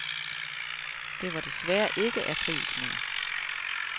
Det var desværre ikke aprilsnar.